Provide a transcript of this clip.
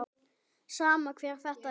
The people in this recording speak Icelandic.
Sama hver þetta er.